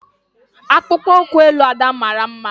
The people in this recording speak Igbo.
Akpụkpọ ụkwụ elu Ada mara mma.